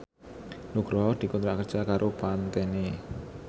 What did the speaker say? Nugroho dikontrak kerja karo Pantene